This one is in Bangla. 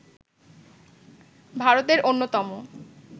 ভারতের অন্যতম